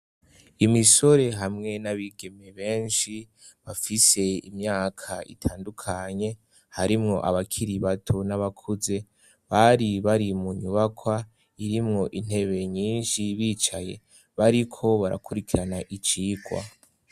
Imisore hamwe n'abigeme benshi bafise imyaka itandukanye harimwo abakiri bato n'abakuze bari bari mu nyubakwa irimwo intebe nyinshi bicaye bariko barakurikirana icigwa.